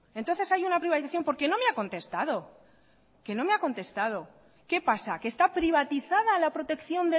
entonces hay una privatización porque no me ha contestado qué pasa que está privatizada la protección